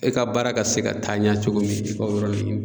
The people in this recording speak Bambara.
E ka baara ka se ka taa ɲɛ cogo min i ka o yɔrɔ ke ɲini